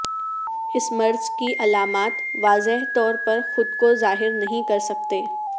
اس مرض کی علامات واضح طور پر خود کو ظاہر نہیں کر سکتے